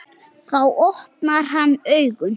Þá opnar hann augun.